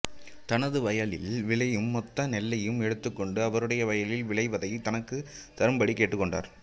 தனது வயலில் விளையும் மொத்த நெல்லையும் எடுத்துக்கொண்டு அவருடைய வயலில் விளைவதை தனக்கு தரும்படி கேட்டுக்கொண்டார்